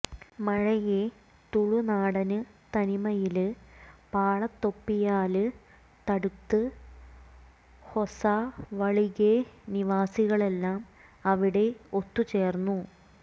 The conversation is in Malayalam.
മഴയെ തുളുനാടന് തനിമയില് പാളത്തൊപ്പിയാല് തടുത്ത് ഹൊസവളിഗെ നിവാസികളെല്ലാം അവിടെ ഒത്തുചേര്ന്നു